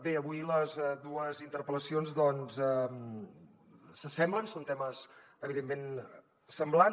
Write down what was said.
bé avui les dues interpel·lacions doncs s’assemblen són temes evidentment semblants